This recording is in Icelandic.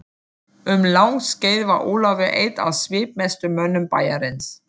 Um langt skeið var Ólafur einn af svipmestu mönnum bæjarins.